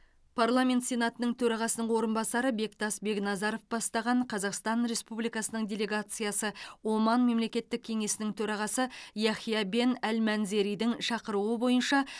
парламент сенатының төрағасының орынбасары бектас бекназаров бастаған қазақстан республикасының делегациясы оман мемлекеттік кеңесінің төрағасы яхия бен әл манзеридің шақыруы бойынша